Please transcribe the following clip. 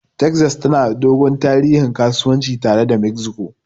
Texas tana da dogon tarihin kasuwanci tare da Mexico.